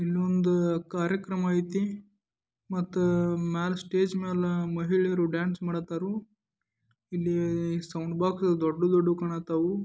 ಇಲ್ಲೊಂದು ಕಾರ್ಯಕ್ರಮ ಐತಿ ಮತ್ತು ಮ್ಯಾಲ ಸ್ಟೇಜ್ ಮೇಲೆ ಮಹಿಳೆಯರು ಡ್ಯಾನ್ಸ್ ಮಾಡಾಕತ್ತಾರು ಇಲ್ಲಿ ಸೌಂಡ್ ಬಾಕ್ಸ್ ದೊಡ್ಡ ದೊಡ್ಡ ಕಾಣಕತಾವು .